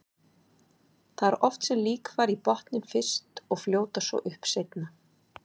Það er oft sem lík fara í botninn fyrst og fljóta svo upp seinna.